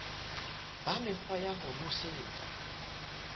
ba mekgwa ya ho nosetsa